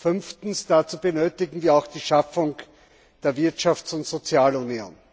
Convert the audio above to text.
Fünftens Dazu benötigen wir auch die Schaffung der Wirtschafts und Sozialunion.